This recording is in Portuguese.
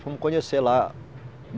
conhecer lá.